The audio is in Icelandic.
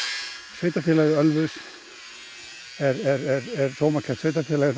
sveitarfélagið Ölfus er sómakært sveitarfélag en það